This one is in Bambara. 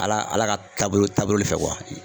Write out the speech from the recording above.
Ala Ala ka taabolo taabolo le fɛ